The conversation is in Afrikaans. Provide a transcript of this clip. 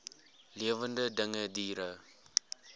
lewende dinge diere